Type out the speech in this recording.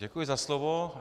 Děkuji za slovo.